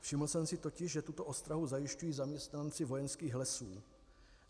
Všiml jsem si totiž, že tuto ostrahu zajišťují zaměstnanci Vojenských lesů.